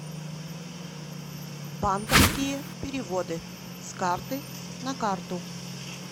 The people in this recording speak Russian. банковские переводы с карты на карту